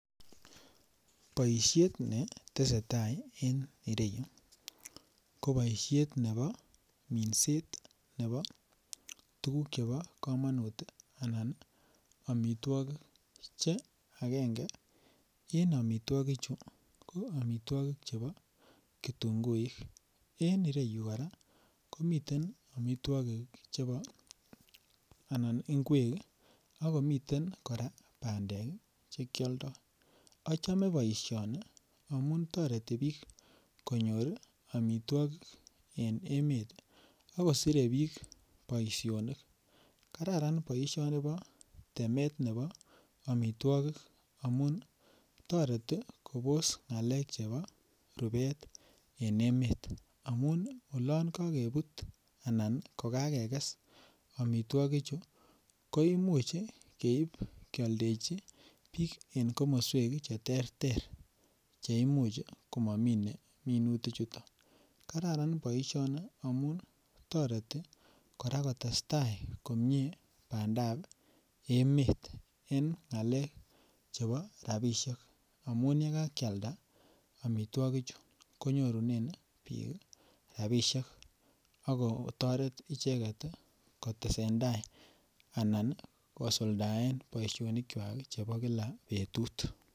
Boisiet ni tesetai en ireyu, ko boisiet nebo minset nebo tukuk chebo kamanut anan amitwogik che akenge en amitwogichu ko amitwogik chebo kitunguik, en ireyu kora komiten amitwogik chebo anan ingwek ii, ako miten kora bandek che kyoldoi, achome boisioni amu toreti piik konyor ii amitwogik en emet, ako sire piik boisionik, kararan boisioni bo temet nebo amitwogik amun, toreti kobos ngalek chebo rubet en emet, amun olon kakebut anan kokakekes amitwogichu, ko imuch ii keip kyoldechi piik en komoswek che terter che imuch ii komomine minutichuto. Kararan boisioni amun toreti kora kotestai komie bandab emet en ngalek chebo rabiisiek, amun ye kakyalda amitwogichu konyorunen piik rabiisiek ako toret icheket ii, kotesentai anan kosuldaen boisionichwak chebo kila betut.